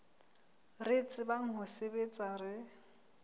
re tsebang ho sebetsa re